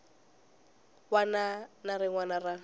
wana na rin wana ra